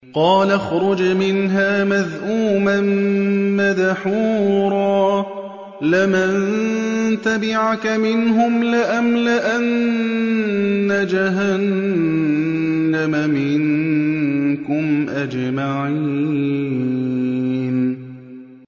قَالَ اخْرُجْ مِنْهَا مَذْءُومًا مَّدْحُورًا ۖ لَّمَن تَبِعَكَ مِنْهُمْ لَأَمْلَأَنَّ جَهَنَّمَ مِنكُمْ أَجْمَعِينَ